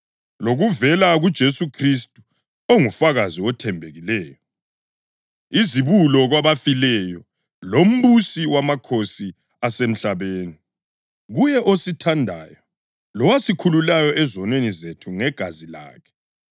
lokuvela kuJesu Khristu, ongufakazi othembekileyo, izibulo kwabafileyo, lombusi wamakhosi asemhlabeni. Kuye osithandayo lowasikhululayo ezonweni zethu ngegazi lakhe,